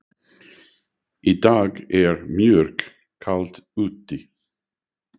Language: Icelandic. Í dag er mjög kalt úti.